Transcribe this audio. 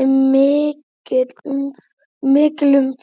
er mikil umferð.